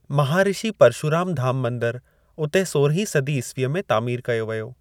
महाऋषि परशुराम धाम मंदरु उते सोरहीं सदी ईसवीअ में तामीर कयो व्यो।